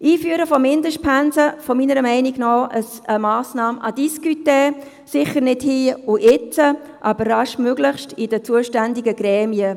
Das Einführen von Mindestpensen ist meiner Meinung nach eine Massnahme à discuter – sicher nicht hier und jetzt, aber baldmöglichst in den zuständigen Gremien.